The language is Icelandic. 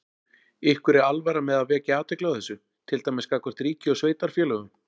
Ykkur er alvara með að vekja athygli á þessu, til dæmis gagnvart ríki og sveitarfélögum?